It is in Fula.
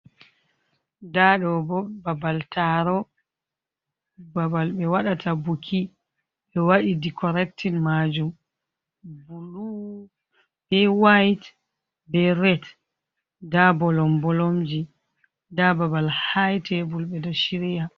Nda ɗo bo babal taro, babal ɓe waɗata buki, ɓe waɗi di corectin majum, bulu, be wait, be red, nda bolom -bolomji, nda babal haa tebur ɓe ɗo shirya.